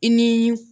I ni